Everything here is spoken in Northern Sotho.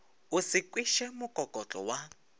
o se kweše mokokotlo wa